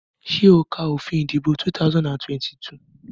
Ṣé o ka òfin ìdìbò 2022?